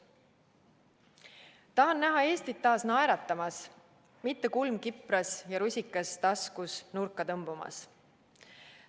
Tahan näha Eestit taas naeratamas, mitte kulm kipras ja rusikas taskus nurka tõmbumas.